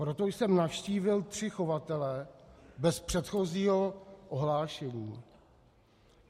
Proto jsem navštívil tři chovatele bez předchozího ohlášení.